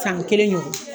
San kelen ɲɔgɔn